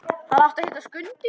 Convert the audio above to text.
Hann átti að heita Skundi.